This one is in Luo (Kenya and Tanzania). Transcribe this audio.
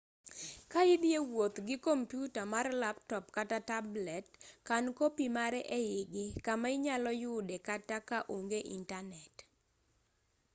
ka idhi e wuoth gi komputa mar laptop kata tablet kan kopi mare eigi kama inyalo yude kata ka onge intanet